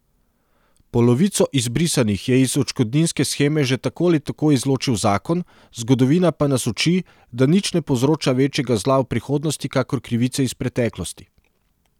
Polovico izbrisanih je iz odškodninske sheme že tako ali tako izločil zakon, zgodovina pa nas uči, da nič ne povzroča večjega zla v prihodnosti kakor krivice iz preteklosti.